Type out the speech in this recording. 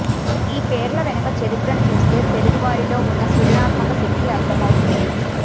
ఈ పేర్ల వెనక చరిత్రని చూస్తే తెలుగువారిలో ఉన్న సృజనాత్మక శక్తి అర్థం అవుతుంది